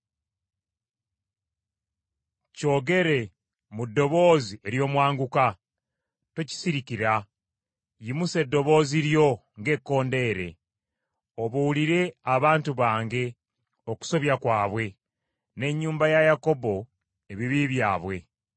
Kyogere mu ddoboozi ery’omwanguka, tokisirikira. Yimusa eddoboozi lyo ng’ekkondeere, obuulire abantu bange okusobya kwabwe, n’ennyumba ya Yakobo ebibi byabwe.